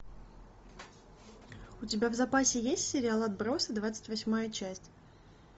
у тебя в запасе есть сериал отбросы двадцать восьмая часть